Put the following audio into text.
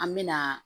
An me na